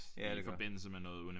Ja det gør